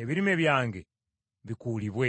ebirime byange bikuulibwe.